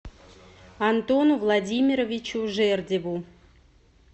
антону владимировичу жердеву